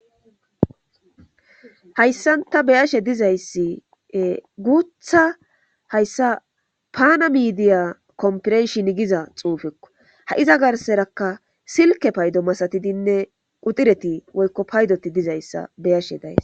Hssanta beyashe dizayssi guutha hayssa paana midiya komporenshin giza xuufekko ha'iza garserakka silke paydo masatidinne quxireti woykko paydoti dizayssa beyashe days.